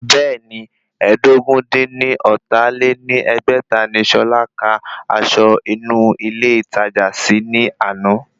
Bẹ́ẹ̀ni, ẹ́ẹdógún-dín-ní-ọ́ta lé ní ẹgbẹ́ta ni Ṣọlá kà aṣọ inú ilé ìtajà sí ní àná